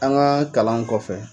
An ka kalan kɔfɛ.